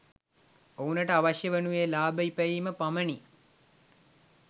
ඔවුනට අවශ්‍යය වනුයේ ලාභ ඉපැයීම පමණි